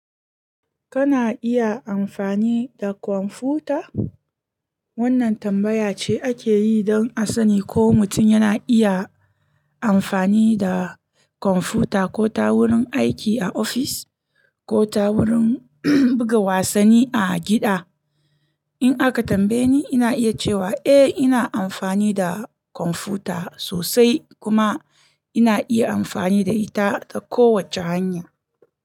Kana iya amfani da kwamfuta? Wannan tambaya ce ake yi don a sani ko mutum yana iya amfani da kwamfuta ko ta wurin aiki a ofis ko ta wurin buga wasanni a gida. In aka tambaye ni, ina iya cewa eh ina amfani da kwamfuta sosai kuma ina iya amfani da ita ta kowace hanya.